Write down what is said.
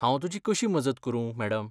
हांव तुजी कशी मजत करूं, मॅडम?